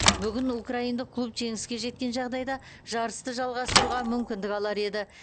бүгін украиндық клуб жеңіске жеткен жағдайда жарысты жалғастыруға мүмкіндік алар еді